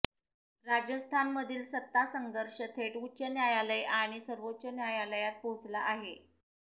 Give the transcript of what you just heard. राजस्थानमधील सत्तासंघर्ष थेट उच्च न्यायालय आणि सर्वोच्च न्यायालयात पोहचला आहे